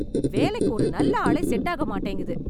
வேலைக்கு ஒரு நல்ல ஆளே செட் ஆக மாட்டேங்குது